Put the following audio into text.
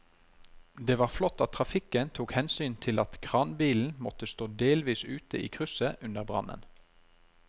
Det var flott at trafikken tok hensyn til at kranbilen måtte stå delvis ute i krysset under brannen.